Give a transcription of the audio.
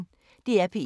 DR P1